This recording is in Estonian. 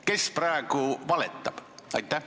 Kes praegu valetab?